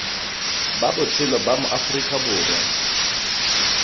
ba botshelo ba maaforika borwa